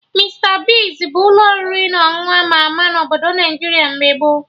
Mista Bigz bụ ụlọ oriri na ọṅụṅụ ama ama na Obodo Naijiria mgbe gboo